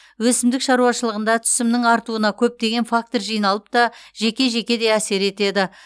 өсімдік шаруашылығында түсімнің артуына көптеген фактор жиналып та жеке жеке де әсер етеді